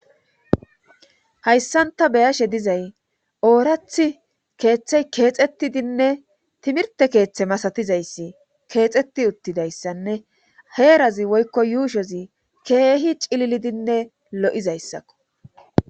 hayssan ta beyashe dizay oorath keeththey keexettidinne timirte keeththe masatizayssi keexeti uttidayssanne heerazi woykko yuushozi keehi cililidinne lo7izayssakko